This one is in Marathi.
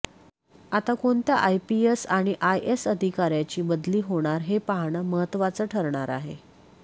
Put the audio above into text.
आता कोणत्या आयपीएस आणि आयएस अधिकाऱ्याची बदली होणार हे पाहणं महत्त्वाचं ठरणार आहे